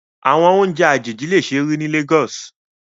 Awọn ounjẹ ajeji le ṣee ri ni Lagos